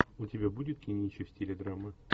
у тебя будет кинище в стиле драмы